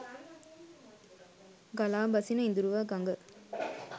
ගලා බසින ඉඳුරුව ගඟ